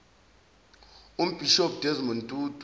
umbhishobhi desmond tutu